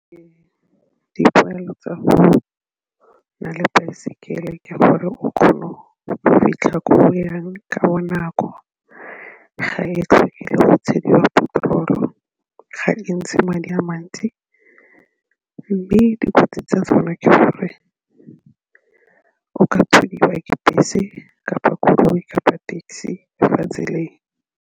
Dipoelo tsa go nna le baesekele ke gore o kgone go fitlha ko o yang ka bonako, ga e tlhoke le go tshwediwa petrol-o, ga e ntshe madi a mantsi mme dikotsi tsa tsona ke gore o ka thudiwa ke bese kapa koloi kapa taxi le fa tseleng.